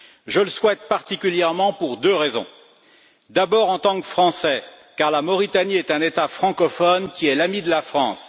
Je le souhaite particulièrement pour deux raisons d'abord, en tant que Français, car la Mauritanie est un État francophone qui est l'ami de la France.